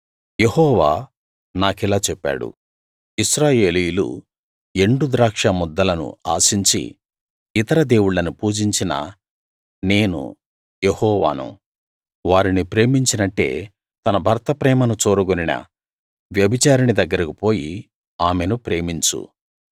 యెహోవా నాకిలా చెప్పాడు ఇశ్రాయేలీయులు ఎండు ద్రాక్షముద్దలను ఆశించి ఇతర దేవుళ్ళను పూజించినా నేను యెహోవాను వారిని ప్రేమించినట్టే తన భర్త ప్రేమను చూరగొనిన వ్యభిచారిణి దగ్గరికి పోయి ఆమెను ప్రేమించు